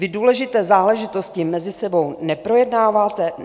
Vy důležité záležitosti mezi sebou neprojednáváte?